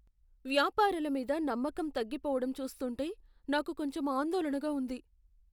వ్యాపారాలమీద నమ్మకం తగ్గిపోవటం చూస్తుంటే నాకు కొంచెం ఆందోళనగా ఉంది.